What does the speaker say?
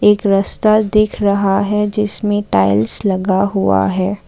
एक रस्ता दिख रहा है जिसमें टाइल्स लगा हुआ है।